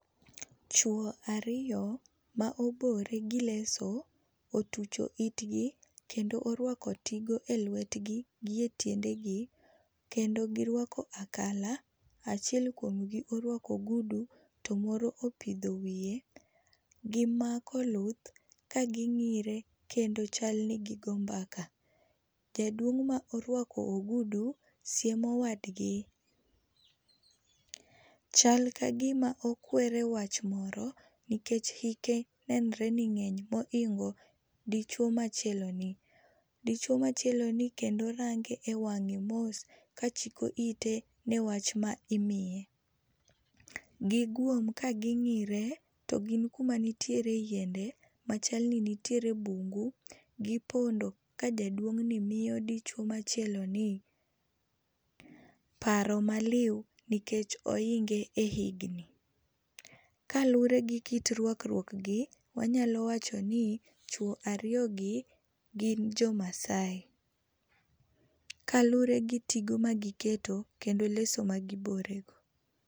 Chwo ariyo ma obore gi leso otucho itgi kendo oruako tigo eluetgi gi etiendegi kendo giruako akala. Achiel kuomgi oruako ogudu to moro opidho wiye. Gimako luth ka ging'ire kendo chal ni gi go mbaka. Jaduong' ma oruako ogudu siemo wadgi. Chal kagima okwere wach moro nikech hike nenre ni ng'eny mohingo dichwo machieloni. Dichwo machieloni kendo range ewang'e mos kachiko ite newach ma imiye. Giguom ka ging'ire to gin kuma nitiere yiende machal ni nitiere bungu, gipondo ka jaduong'ni miyo dichuo machieloni paro maliw nikech ohinge e higni. Kaluwre gi kit ruakruok gi, wanyalo wacho ni chwo ariyogi gin jo Maasai, kaluwre gi tigo magiketo kendo leso magibore go.